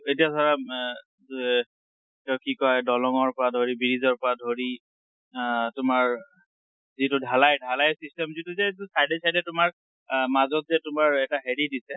এতিয়া ধৰা আ ড এ কি কৈ দলংৰ পৰা ধৰি, bridgeৰ পৰা ধৰি আ তোমাৰ যিটো ঢালাই, ঢালাইৰ system যিটো যে side এ side তোমাৰ আ মাজত যে তোমাৰ এটা হেৰি দিছে,